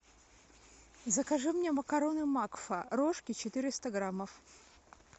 закажи мне макароны макфа рожки четыреста граммов